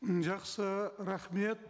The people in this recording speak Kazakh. жақсы рахмет